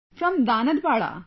from Danadpara